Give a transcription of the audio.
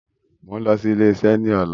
Mo ń lọ sí ilésà ni ọ̀la